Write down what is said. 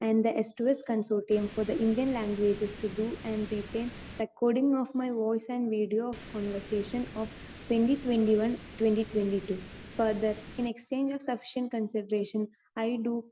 Speaker 2 and the സ്‌2സ്‌ consortium for the Indian languages to do and written recording of my voice and video of conversation of 2021-2022. Further, in exchange of sufficient consideration, I Dr